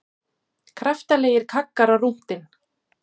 Kraftalegir kaggar á rúntinn